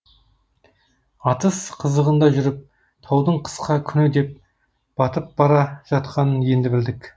атыс қызығында жүріп таудың қысқа күні де батып бара жатқанын енді білдік